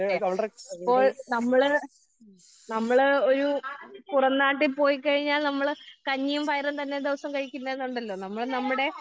ഏഹ് ഇപ്പോൾ നമ്മള് നമ്മള് ഏഹ് ഒരു പുറം നാട്ടിൽ പോയി കഴിഞ്ഞാൽ നമ്മള് കഞ്ഞിയും പയറും തന്നെ ദിവസവും കഴിക്കില്ല എന്നുണ്ടല്ലോ. നമ്മള് നമ്മുടെ